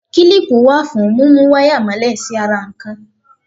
Kílípù wà fún múmú wáyà mọ́lẹ̀ sí ara nǹkan.